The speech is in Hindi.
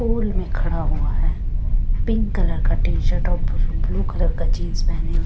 पोल में खड़ा हुआ है पिंक कलर का टी_शर्ट और ब्लू कलर का जींस पहने।